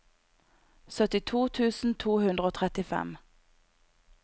syttito tusen to hundre og trettifem